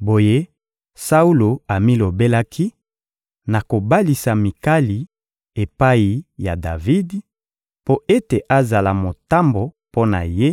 Boye Saulo amilobelaki: «Nakobalisa Mikali epai ya Davidi, mpo ete azala motambo mpo na ye,